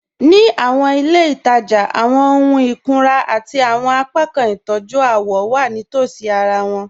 Ní àwọn ilẹ̀-itaja, àwọn òhùn ìkùnrà àti àwọn apákan ìtọ́jú àwọ̀ wà nítòsí àrà wọn.